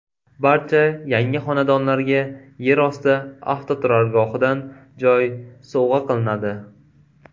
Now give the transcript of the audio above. Barcha yangi xonadonlarga yerosti avtoturargohidan joy sovg‘a qilinadi.